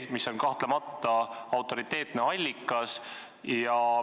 See on kahtlemata autoriteetne allikas.